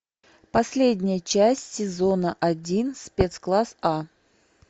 последняя часть сезона один спецкласс а